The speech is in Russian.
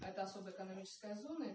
это особая экономическая зона